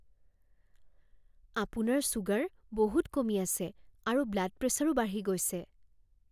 আপোনাৰ ছুগাৰ বহুত কমি আছে আৰু ব্লাড প্ৰেছাৰো বাঢ়ি গৈছে।